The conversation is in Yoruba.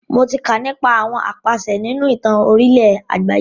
Mo tí kà nípa àwọn apàṣẹ nínú ìtàn orílẹ̀ àgbáyé.